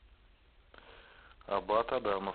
абат адамов